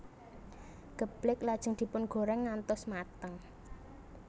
Geblèk lajeng dipun goreng ngantos mateng